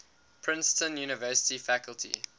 princeton university faculty